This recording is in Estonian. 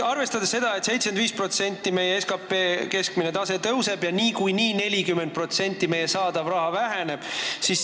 Arvestame seda, et meie SKT ühe elaniku kohta tõuseb, ja kui see tõuseb vähemalt 75%-ni euroliidu keskmisest, siis meie saadav raha väheneb 40%.